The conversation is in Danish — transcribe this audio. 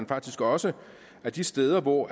faktisk også at de steder hvor